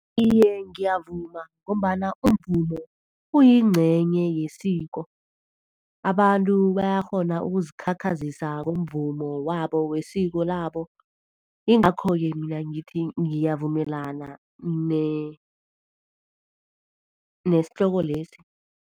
Iye, ngiyavuma ngombana umvumo uyingcenye yesiko. Abantu bayakghona ukuzikhakhazisa ngomvumo wabo, wesiko labo. Yingakho-ke mina ngithi ngiyavumelana nesihloko lesi.